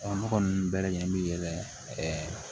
ne kɔni bɛɛ lajɛlen bi yɛlɛ